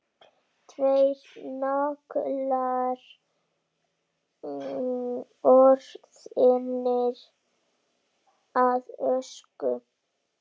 Tveir naglar orðnir að ösku.